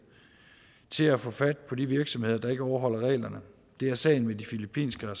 til at få fat på de virksomheder der ikke overholder reglerne det er sagen med de filippinske og